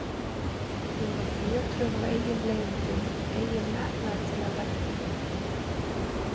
Hún var fjötruð af eigin leiðindum, eigin metnaði til að vernda.